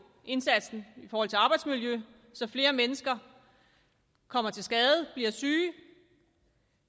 indsatsen i forhold til arbejdsmiljø så flere mennesker kommer til skade og bliver syge